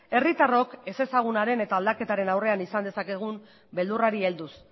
herritarrok ezezaguna den eta aldaketaren aurrean izan dezakegun beldurrari helduz